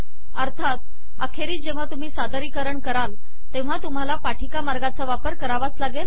अर्थात अखेरीस जेव्हा तुम्ही सादरीकरण कराल तेव्हा तुम्हाला सादरीकरण मार्गाचा वापर करावा लागेल